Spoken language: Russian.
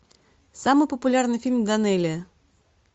самый популярный фильм данелия